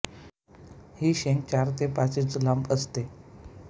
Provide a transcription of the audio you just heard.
ही शेंग चार ते पाच इंच लांब असते